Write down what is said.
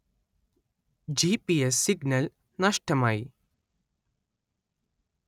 ജീ_letter പീ_letter എസ്_letter signal നഷ്ടമായി